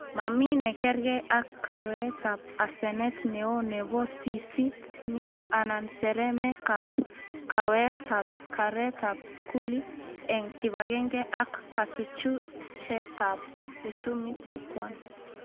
Mami nekerke ak kaweetab asenet neo nebo siisit ni anan seremekab kaweet ab keretab skuli eng kibagenge ak kachuchuchetab uchumit nekwan